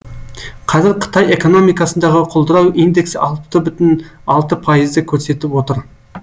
қазір қытай экономикасындағы құлдырау индексі алты бүтін алты пайызды көрсетіп отыр